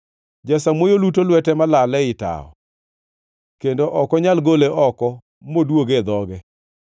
Jasamuoyo luto lwete malal ei tawo; kendo ok onyal gole oko moduoge e dhoge!